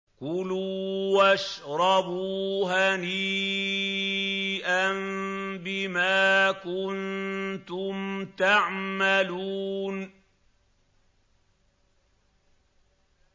كُلُوا وَاشْرَبُوا هَنِيئًا بِمَا كُنتُمْ تَعْمَلُونَ